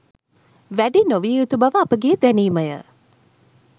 වැඩි නොවිය යුතු බව අපගේ දැනීම ය